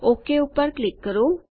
okay પર click કરો